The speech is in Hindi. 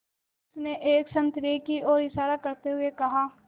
उसने एक संतरे की ओर इशारा करते हुए कहा